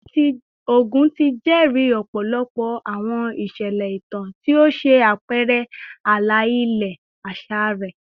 Ogun ti jẹri ọpọlọpọ awọn iṣẹlẹ itan ti o ṣe apẹrẹ ala-ilẹ aṣa rẹ